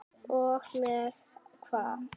Og með hvað?